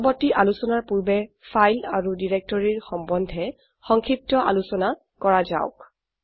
পৰবৰ্তী আলোচনাৰ পূৰ্বে ফাইল আৰু ডিৰেক্টৰীৰ সম্বন্ধে সংক্ষিপ্ত আলোচনা কৰা যাওক